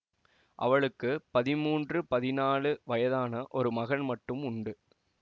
அவளுக்கு பதிமூன்று பதினாலு வயதான ஒரு மகன் மட்டும் உண்டு